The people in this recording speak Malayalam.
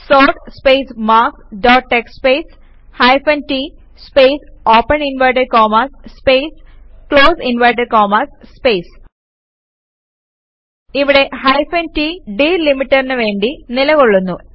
sort space marks dot TXT space hyphen t space open inverted commas space close inverted commas space ഇവിടെ ഹൈഫൻ t ഡിലിമീറ്ററിന് വേണ്ടി നിലകൊള്ളുന്നു